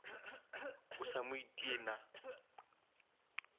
o sa mo itie na